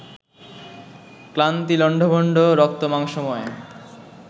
ক্লান্তি লণ্ডভণ্ড রক্তমাংসময়